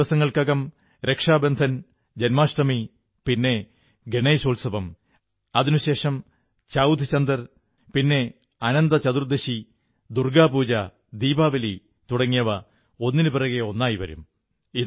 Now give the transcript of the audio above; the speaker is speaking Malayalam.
അല്പദിവസങ്ങൾക്കകം രക്ഷാബന്ധൻ ജന്മാഷ്ടമി പിന്നെ ഗണേശോത്സവം അതിനുശേഷം ചൌഥ് ചന്ദർ പിന്നെ അനന്തചതുർദശി ദുർഗ്ഗാ പൂജ ദീപാവലി തുടങ്ങിയവ ഒന്നിനുപിറകെ ഒന്നായി വരും